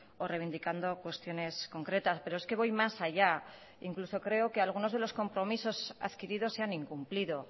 o reivindicando cuestiones concretas pero es que voy más allá incluso creo que algunos de los compromisos adquiridos se han incumplido